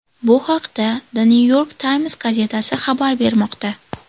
Bu haqda The New York Times gazetasi xabar bermoqda .